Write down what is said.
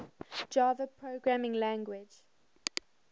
java programming language